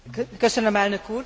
Valóban röviden.